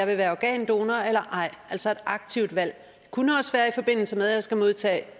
vil være organdonorer eller ej altså et aktivt valg det kunne også være i forbindelse med at man skal modtage